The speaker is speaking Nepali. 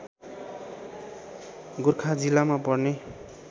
गोर्खा जिल्लामा पर्ने